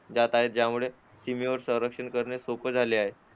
जात आहे त्यामुळे सीमेवर संरक्षण करणे सोपे झाले आहे